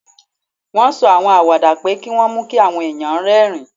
Wọ́n sọ àwọn àwàdà pé kí wọ́n mú kí àwọn èèyàn rẹ́rìn-ín